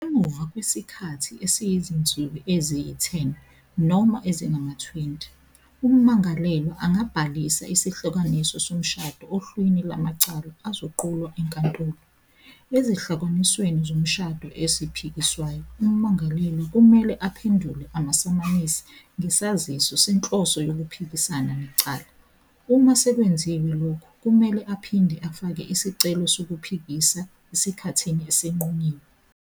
Emuva kwesikhathi esiyizinsuku eziyi-10 noma ezingama-20, ummangalelwa angabhalisa isahlukaniso somshado ohlwini lwamacala azoqulwa enkantolo. Ezahlukanisweni zomshado eziphikiswayo, ummangalelwa kumele aphendule amasamanisi ngesaziso senhloso yokuphikisana necala. "Uma sekwenziwe lokho, kumele aphinde afake isicelo sokuphikisa esikhathini esinqunyiwe.